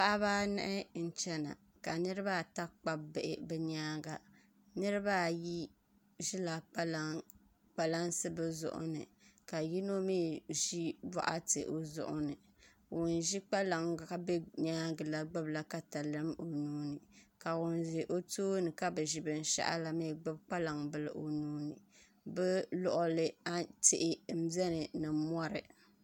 Paɣaba anahi n chɛna ka niraba ata kpabi bihi bi nyaanga niraba ayi ʒila kpalaŋsi bi zuɣu ni ka yino mii ʒi boɣati o zuɣu ni ŋun ʒi kpalaŋ ka bɛ nyaangi na gbubila katalɛm o nuuni ka ŋun ʒɛ o tooni ka bi ʒi binshaɣu la mii gbubi kpalaŋ bili o nuuni bi luɣuli tihi n biɛni ni mori